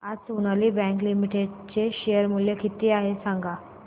आज Sonali bank limited चे share मूल्य किती आहे सांगा